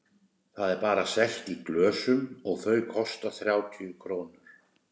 Það er bara selt í glösum og þau kosta þrjátíu krónur.